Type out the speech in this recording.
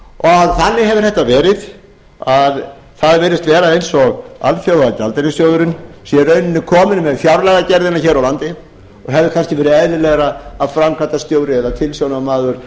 alþjóðagjaldeyrissjóðnum þannig hefur þetta verið að það virðist vera eins og alþjóðagjaldeyrissjóðurinn sé í rauninni kominn með fjárlagagerðina hér á landi og hefði kannski verið eðlilegra að framkvæmdastjóri eða tilsjónarmaður